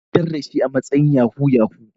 An tabbatar da shi a matsayin Yahoo yahoo.